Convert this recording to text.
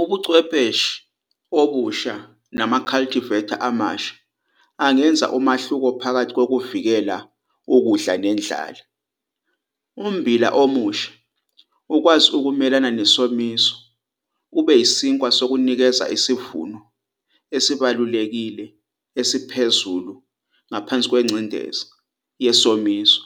Ubuchwepheshe obusha nama-cultivar amasha angenza umehluko phakathi kokuvikeleka kokudla nendlala. Ummbila omusha ukwazi ukumelana nesomiso ube yisinkwa sokunikeza isivuno esibalulekile esiphezulu ngaphansi kwengcindezi yesomiso